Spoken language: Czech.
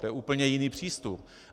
To je úplně jiný přístup!